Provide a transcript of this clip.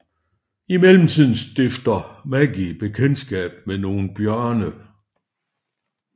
I mellemtiden stifter Maggie bekendtskab med nogle bjørne